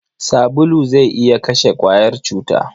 Sabulu zai iya kashe ƙwayar cuta.